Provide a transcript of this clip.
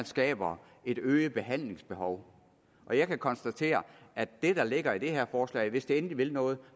skaber et øget behandlingsbehov og jeg kan konstatere at det der ligger i det her forslag er hvis det endelig vil noget